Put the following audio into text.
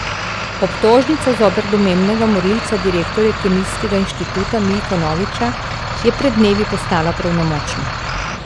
Obtožnica zoper domnevnega morilca direktorja Kemijskega inštituta, Milka Noviča je pred dnevi postala pravnomočna.